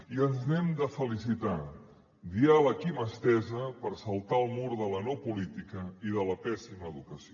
i ens n’hem de felicitar diàleg i mà estesa per saltar el mur de la no política i de la pèssima educació